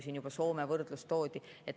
Siin juba võrdlus Soomega toodi.